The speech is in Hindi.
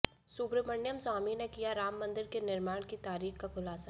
सुब्रमण्यम स्वामी ने किया राम मंदिर के निर्माण की तारीख का खुलासा